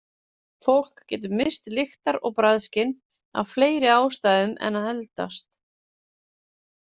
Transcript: Fólk getur misst lyktar- og bragðskyn af fleiri ástæðum en að eldast.